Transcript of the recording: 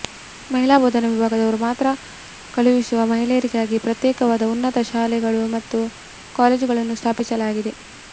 ಮಹಿಳಾ ಬೋಧನಾ ವಿಭಾಗದವರು ಮಾತ್ರ ಕಲಿಸುವ ಮಹಿಳೆಯರಿಗಾಗಿ ಪ್ರತ್ಯೇಕವಾದ ಉನ್ನತ ಶಾಲೆಗಳು ಮತ್ತು ಕಾಲೇಜುಗಳನ್ನು ಸ್ಥಾಪಿಸಲಾಗಿದೆ